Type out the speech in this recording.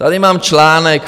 Tady mám článek.